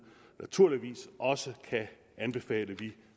naturligvis også kan anbefale vi